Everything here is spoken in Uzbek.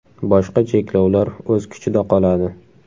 Boshqa cheklovlar o‘z kuchida qoladi.